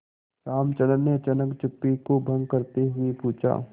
रामचंद्र ने अचानक चुप्पी को भंग करते हुए पूछा